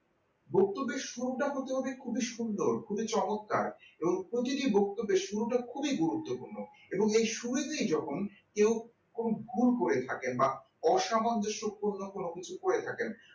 বক্তব্যের শুরুটা হতে হবে খুবই সুন্দর খুবই চমৎকার এবং প্রতিটা বক্তব্যে শুরুটা খুবই গুরুত্বপূর্ণ এবং এই শুরুতে যখন কেউ কোন ভুল করে থাকে বা অসামঞ্জস্যপূর্ণ কোন কিছু বলে থাকেন